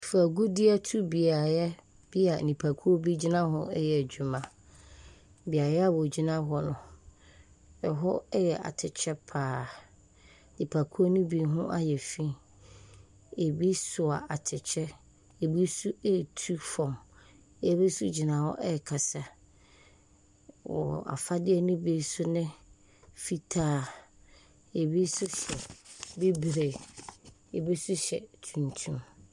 Fam agudiɛtubeaeɛ a nnipa bi gyina reyɛ adwuma. Beaeɛ a wogyina hɔ no, ɛhɔ yɛ atɛkyɛ pa ara. Nipakuo no bi ho ayɛ fi. Ebi soa atɛkyɛ. Ebi nso retu fam. Ebi nso gyina hɔ rekasa. Wɔn afadeɛ nso bi ne fitaa, ebi nso hyɛ bibire, ebi nso hyɛ tuntum.